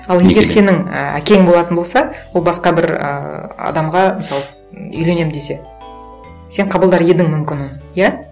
ал егер сенің і әкең болатын болса ол басқа бір ыыы адамға мысалы м үйленемін десе сен қабылдар едің мүмкін оны иә